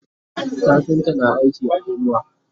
kafinta na aiki a inuwa